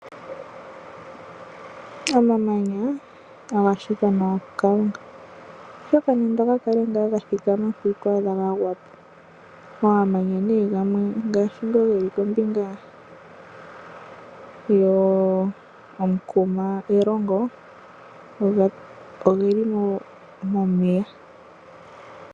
Omamanya oga shitwa nawa kuKalunga, oshoka nande oga kale ngaa ga thikama mpo ito adha ga gwa po. Omamanya nee gamwe ngashi nga geli kombinga ano komukuma Erongo oge li momeya.